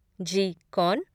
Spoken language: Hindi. जी, कौन?